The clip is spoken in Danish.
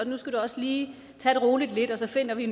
nu skal du også lige tage det roligt lidt og så finder vi